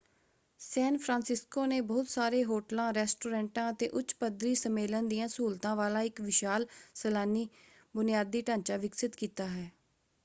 ਸੈਨ Francisco ਨੇ ਬਹੁਤ ਸਾਰੇ ਹੋਟਲਾਂ ਰੈਸਟੋਰੈਂਟਾਂ ਅਤੇ ਉੱਚ ਪੱਧਰੀ ਸੰਮੇਲਨ ਦੀਆਂ ਸਹੂਲਤਾਂ ਵਾਲਾ ਇਕ ਵਿਸ਼ਾਲ ਸੈਲਾਨੀ ਬੁਨਿਆਦੀ ਢਾਂਚਾ ਵਿਕਸਿਤ ਕੀਤਾ ਹੈ।